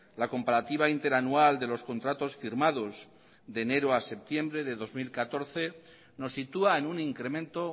la comparativa interanual de los contratos firmados de enero a septiembre de dos mil catorce nos sitúa en un incremento